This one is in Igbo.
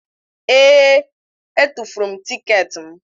Ee! Etufuru m tiketi m.